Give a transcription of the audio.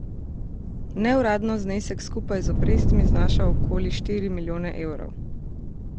Neuradno znesek skupaj z obrestmi znaša okoli štiri milijone evrov.